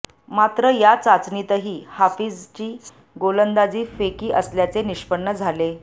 मात्र या चाचणीतही हाफिजची गोलंदाजी फेकी असल्याचे निष्पन्न झाले